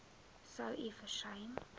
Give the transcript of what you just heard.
sou u versuim